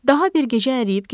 Daha bir gecə əriyib gedirdi.